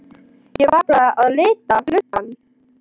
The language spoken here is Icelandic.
Ég var bara að lita lubbann.